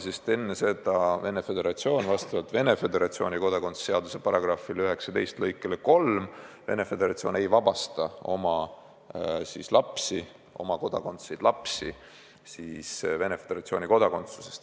Sest enne seda Venemaa Föderatsioon vastavalt oma kodakondsuse seaduse § 19 lõikele 3 ei vabasta oma kodanikest lapsi Venemaa Föderatsiooni kodakondsusest.